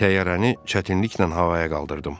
Təyyarəni çətinliklə havaya qaldırdım.